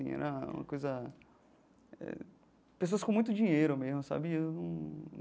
Era uma coisa eh... Pessoas com muito dinheiro mesmo, sabe? Eu num.